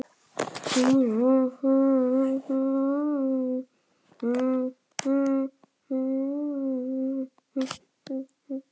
Olla átti góða að.